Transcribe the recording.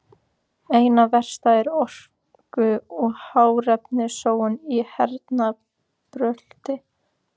Einna verst er orku- og hráefnasóun í hernaðarbrölti.